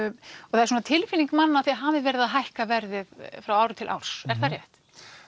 það er svona tilfinning manna að þið hafið verið að hækka verðið frá ári til árs er það rétt